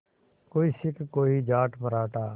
कोई सिख कोई जाट मराठा